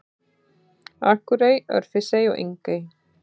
Akurey, Örfirisey og Engey.